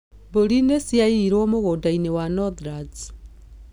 Mburi nĩ ciayirwo mũgũnda-inĩ Northlands.